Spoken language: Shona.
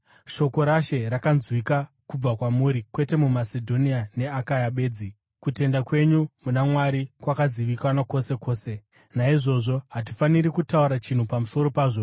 Shoko raShe rakanzwika kubva kwamuri kwete muMasedhonia neAkaya bedzi, kutenda kwenyu muna Mwari kwakazivikanwa kwose kwose. Naizvozvo hatifaniri kutaura chinhu pamusoro pazvo,